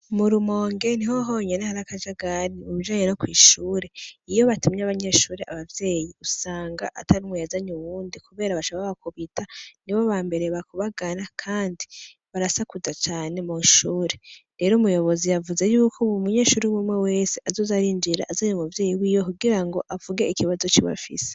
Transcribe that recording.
Mu Rumonge niho honyene hari akajagari mubijanye no kw’ishure, iyo batumye abanyeshure abavyeyi usanga atanumwe yazanye uwundi kubera baca babakubita, nibo ba mbere bakubagana kandi barasakuza cane mw’ishure, rero umuyobozi yavuze yuko umunyeshure umwe umwe wese azoza arinjira azanye umuvyeyi wiwe kugira ngo avuge ikibazo ciwe afise.